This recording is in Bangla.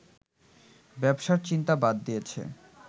ব্যবসার চিন্তা বাদ দিয়েছে